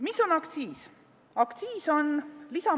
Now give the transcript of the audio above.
Mis on aktsiis?